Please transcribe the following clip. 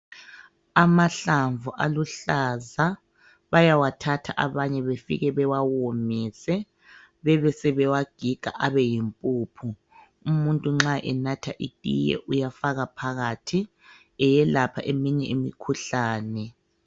Amahlamvu aluhlaza bayawathatha abanye befike bewawomise bebesebewagiga abeyimpuphu. Umuntu nxa enatha itiye uyafaka phakathi eyelapha eminye imikhuhlane.